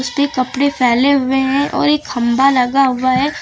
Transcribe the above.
ये कपड़े फैले हुए हैं और एक खंभा लगा हुआ है।